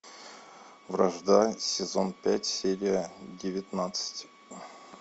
вражда сезон пять серия девятнадцать